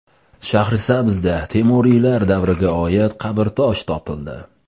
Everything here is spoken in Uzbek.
Shahrisabzda Temuriylar davriga oid qabrtosh topildi.